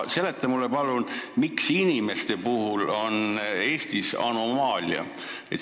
Seleta mulle palun, miks inimeste puhul on Eestis anomaalia.